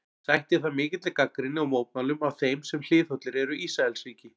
Sætti það mikilli gagnrýni og mótmælum af þeim sem hliðhollir eru Ísraelsríki.